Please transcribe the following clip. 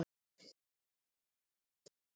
Hvernig verka, Lárus?